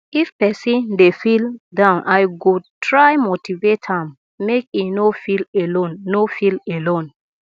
if person dey feel down i go try motivate am make e no feel alone no feel alone